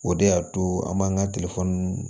O de y'a to an b'an ka